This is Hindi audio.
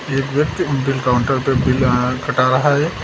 एक व्यक्ति बिल काउंटर पे बिल कटा रहा है।